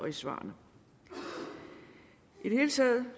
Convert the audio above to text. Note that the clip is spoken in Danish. i svarene i det hele taget